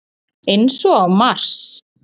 Eins og á Mars